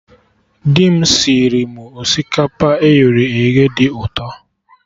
Dị m sịrị mụ osikapa eghere eghe dị ụtọ